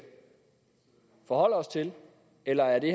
forholde os til eller er det